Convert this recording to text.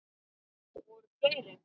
Voru fleiri?